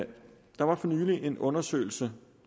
der var for nylig en undersøgelse